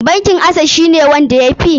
Bankin acess shi ne wanda ya fi?